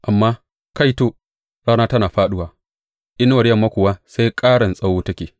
Amma, kaito, rana tana fāɗuwa, inuwar yamma kuwa sai ƙaran tsawo take.